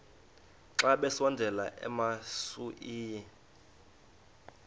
xa besondela emasuie